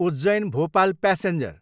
Ujjain, Bhopal passenger